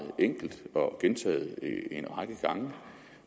enkelt og gentaget en række gange